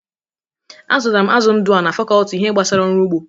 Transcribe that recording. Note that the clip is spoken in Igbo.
A zụtara m azụ ndụ a na fakọlti ihe gbasara ọrụ ụgbọ.